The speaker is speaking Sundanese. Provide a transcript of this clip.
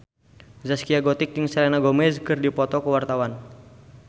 Zaskia Gotik jeung Selena Gomez keur dipoto ku wartawan